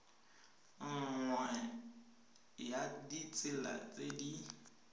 nngwe ya ditsela tse di